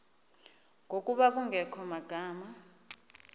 ngokuba kungekho magama